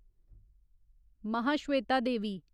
Mahasweta Devi